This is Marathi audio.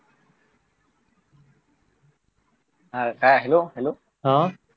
अं काय हॅलो हॅलो